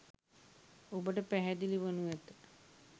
ඔබට පැහැදිලි වනු ඇත.